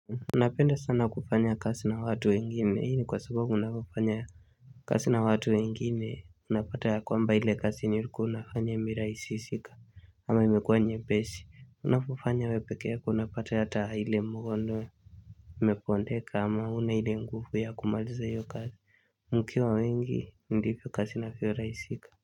Unapenda sana kufanya kasi na watu wengine hini kwa sababu unapufanya kasi na watu wengine unapata ya kwamba ile kasi niliku unafanya miraisi sika ama imekua nye besi unapufanya wepeke yako unapata ya hile mwondo imepondeka ama unahile ngufu ya kumaliza yu kasi mkiwa wengi ndipi kasi na kiyo raisika.